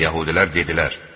Yəhudilər dedilər: